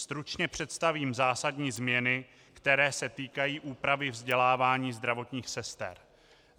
Stručně představím zásadní změny, které se týkají úpravy vzdělávání zdravotních sester.